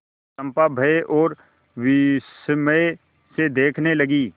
चंपा भय और विस्मय से देखने लगी